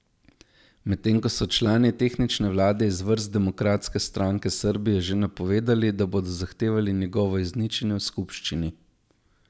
Medtem ko so člani tehnične vlade iz vrst Demokratske stranke Srbije že napovedali, da bodo zahtevali njegovo izničenje v skupščini.